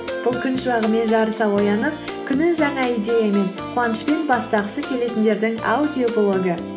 бұл күн шуағымен жарыса оянып күнін жаңа идеямен қуанышпен бастағысы келетіндердің аудиоблогы